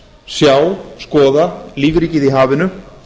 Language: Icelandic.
sjá skoða lífríkið í hafinu